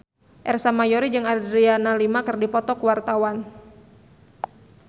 Ersa Mayori jeung Adriana Lima keur dipoto ku wartawan